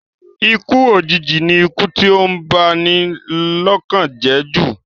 Ikú òjìji ni ikú tí ó ń ba ni lọ́kàn jẹ́ jù